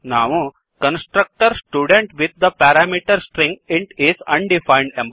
ನಾವು constructor student with the parameter string int is undefined